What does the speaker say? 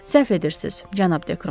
Səhv edirsiz, cənab Dekron.